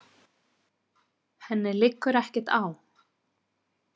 Henni liggur ekkert á.